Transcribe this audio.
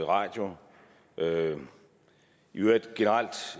radio i øvrigt